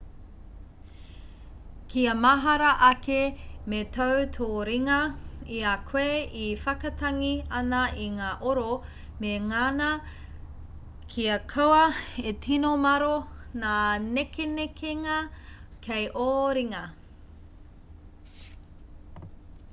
kia mahara ake me tau tō ringa i a koe e whakatangi ana i ngā oro me ngana kia kaua e tino māro ngā nekenekenga kei ō ringa